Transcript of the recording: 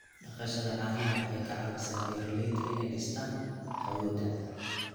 Dhaqashada caanaha waxay ka caawisaa beeralayda inay dhistaan ??awoodda.